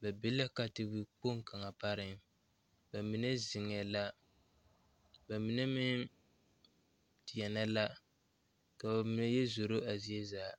ba be la katawikpoŋ kaŋa pareŋ ba mine zeŋɛɛ la ba mine meŋ deɛnɛ la ka ba mine yɛ zoro zie zaa.